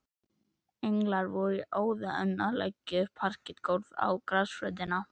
Englar voru í óða önn að leggja parketgólf á grasflötina.